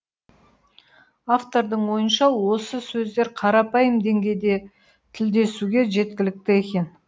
автордың ойынша осы сөздер қарапайым деңгейде тілдесуге жеткілікті екен